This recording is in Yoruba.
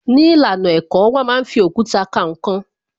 Ní ìlànà ẹ̀kọ́, wón máa ń fi òkúta ka ǹkan